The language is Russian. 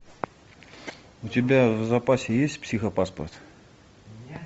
у тебя в запасе есть психопаспорт